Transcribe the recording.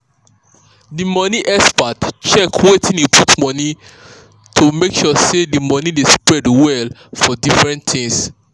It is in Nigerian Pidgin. di money um expert check wetin e put money well to make sure say the money dey spread um for different things.